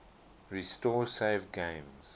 restore saved games